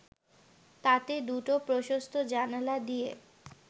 তাতে দুটো প্রশস্ত জানালা দিয়ে